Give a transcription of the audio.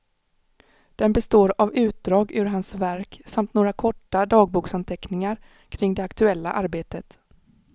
Den består av utdrag ur hans verk samt några korta dagboksanteckningar kring det aktuella arbetet.